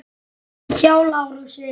Hjá Lárusi.